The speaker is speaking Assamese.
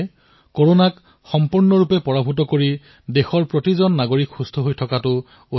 সেয়ে প্ৰতিজন দেশবাসী যাতে সুস্থ হৈ থাকে আৰু একত্ৰিতভাৱে কৰোনাক হৰুৱাব পাৰে সেয়া হব অধিক গুৰুত্বপূৰ্ণ